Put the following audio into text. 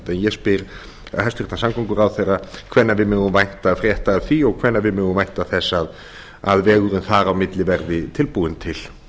ég spyr hæstvirtur samgönguráðherra hvenær við megum vænta frétta af því og hvenær við megum vænta þess að vegurinn þar á milli verði tilbúinn til